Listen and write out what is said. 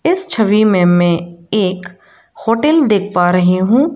इस छवि में मैं एक होटल देख पा रही हूं।